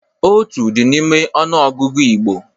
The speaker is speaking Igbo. Otu dị n'ime ọnụ ọgụgụ Igbo.